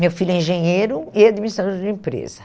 Meu filho é engenheiro e administrador de empresa.